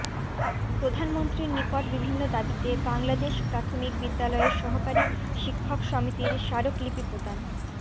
প্রধানমন্ত্রীর নিকট বিভিন্ন দাবীতে বাংলাদেশ প্রাথমিক বিদ্যালয়ের সহকারী শিক্ষক সমিতির স্মারকলিপি প্রদান